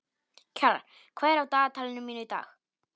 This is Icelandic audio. Kjalar, hvað er á dagatalinu mínu í dag?